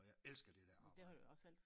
Og jeg elsker det dér arbejde